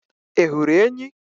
Ị hụrụ enyí?